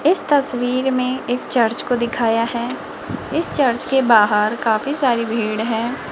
इस तस्वीर में एक चर्च को दिखाया है इस चर्च के बाहर काफी सारी भीड़ है।